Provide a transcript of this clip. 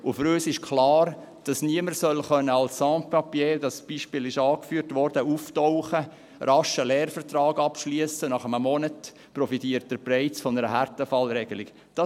Für uns ist klar, dass niemand als Sans-Papier, dieses Beispiel wurde angeführt, auftauchen und rasch einen Lehrvertrag abschliessen können soll, sodass er nach einem Monat bereits von einer Härtefallregelung profitiert.